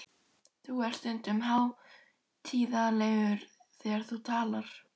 Þú ert stundum hátíðlegur þegar þú talar.